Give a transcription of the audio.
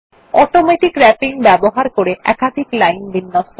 automatic wrapping ব্যবহার করে একাধিক লাইন বিন্যস্ত করা